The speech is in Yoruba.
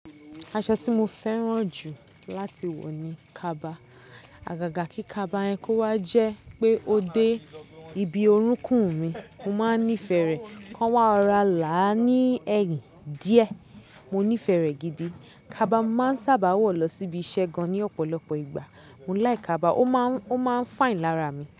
Aṣọ tí mo fẹ́ràn jù láti wọ̀ ni kaba. Àgàgà kí kaba yẹn kó wá jẹ́ pé ó dé ibi orúnkún mi, mo máa nífẹ̀ẹ́ rẹ̀. Kán wá rọ̀rá là á ní ẹyìn díẹ̀, mo nífẹ̀ẹ́ rẹ̀ gidi. Kaba máa ń sábà wọ̀ lọ síbi iṣẹ́ gan ní ọ̀pọ̀lọpọ̀ ìgbà. Mo like kaba, ó máa ń, ó máa ń fine lára mi.